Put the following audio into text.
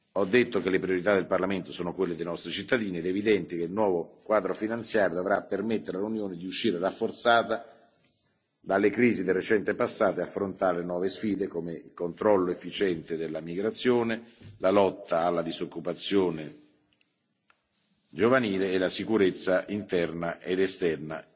Ho detto che le priorità del Parlamento sono quelle dei nostri cittadini ed è evidente che il nuovo quadro finanziario dovrà permettere all'Unione di uscire rafforzata dalle crisi del recente passato e affrontare le nuove sfide, come il controllo efficiente della migrazione, la lotta alla disoccupazione giovanile e la sicurezza interna ed esterna,